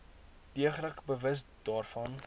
deeglik bewus daarvan